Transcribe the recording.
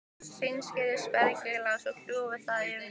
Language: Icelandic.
Hreinsið spergilkálið og kljúfið það í kvisti.